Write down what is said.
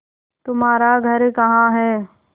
तुम्हारा घर कहाँ है